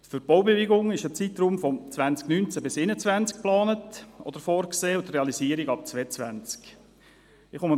Für die Baubewilligung ist ein Zeitraum von 2019–2021 geplant oder vorgesehen und die Realisierung ab dem Jahr 2022.